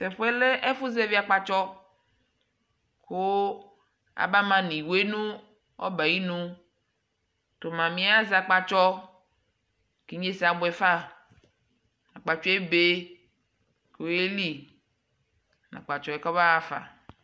tɛ ɛƒʋɛ lɛ ɛƒʋ zɛvi akpatsɔ kʋ aba ma nʋ iwɛ nʋ ɔbɛ ayinʋ, tʋ mamiɛ azɛ akpatsɔ kʋ inyɛsɛ abʋɛ ƒa, akpatsɔɛ ɛbɛ kʋ ɔyɛli nʋ akpatsɔɛ kʋ ɔyaƒa